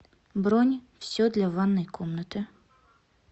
бронь все для ванной комнаты